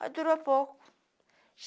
Mas durou pouco.